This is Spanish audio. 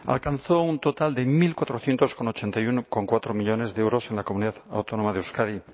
alcanzó un total de mil cuatrocientos ochenta y uno coma cuatro millónes de euros en la comunidad autónoma de euskadi